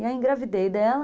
E aí, engravidei dela...